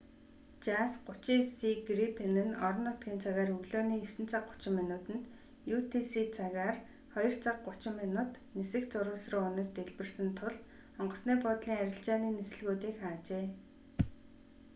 жас 39си грипен нь орон нутгийн цагаар өглөөний 9 цаг 30 минутанд utc цагаар 02 цаг 30 минут нисэх зурвас руу унаж дэлбэрсэн тул онгоцны буудлын арилжааны нислэгүүдийг хаажээ